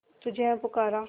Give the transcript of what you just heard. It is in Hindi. तुझे है पुकारा